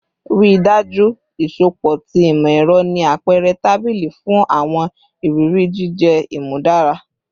Rii daju iṣọpọ ti imọ-ẹrọ ni apẹrẹ tabili fun awọn iriri jijẹ imudara